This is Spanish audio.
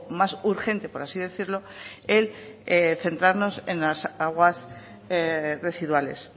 más urgente por así decirlo el centrarnos en las aguas residuales